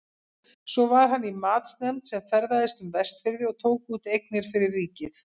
Svo var hann í matsnefnd sem ferðaðist um Vestfirði og tók út eignir fyrir ríkið.